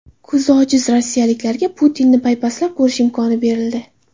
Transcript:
Ko‘zi ojiz rossiyaliklarga Putinni paypaslab ko‘rish imkoniyati berildi.